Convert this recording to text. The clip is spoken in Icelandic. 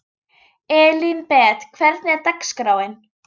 Elínbet, hvernig er dagskráin?